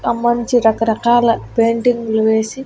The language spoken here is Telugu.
ఆ మంచి రకరకాల పెయింటింగ్లు వేసి--